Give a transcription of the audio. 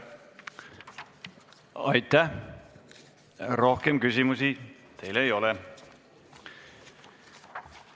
Aitäh, rohkem küsimusi teile ei ole!